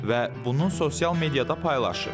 Və bunu sosial mediada paylaşıb.